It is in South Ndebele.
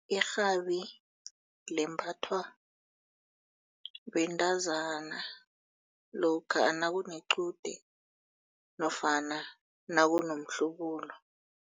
Irhabi limbathwa bentazana lokha nakunequde nofana nakunomhlubulo.